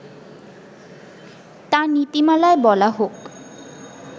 তা নীতিমালায় বলা হোক